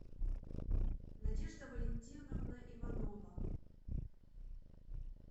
надежда валентиновна иванова